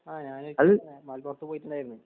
ആഹ് ഞാൻ ഒരിക്കൽ മലപ്പുറത്ത് പോയിട്ടുണ്ടായിരുന്നു